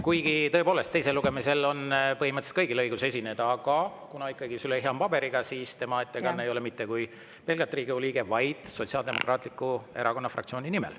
Kuigi, tõepoolest, teisel lugemisel on põhimõtteliselt kõigil õigus esineda, aga kuna Züleyxa on paberiga, siis tema ettekanne ei ole mitte kui pelgalt Riigikogu liikme nimel, vaid Sotsiaaldemokraatliku Erakonna fraktsiooni nimel.